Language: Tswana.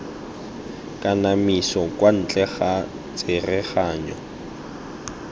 kanamiso kwa ntle ga tsereganyo